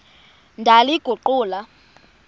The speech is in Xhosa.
ndaliguqula